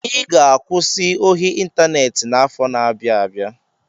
I ga-akwụsị ohi ịntaneti afọ na-abia abịa.